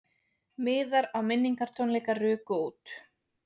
Miðar á minningartónleika ruku út